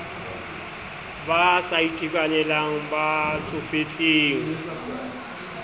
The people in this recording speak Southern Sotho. ba sa itekanelang ba tsofetseng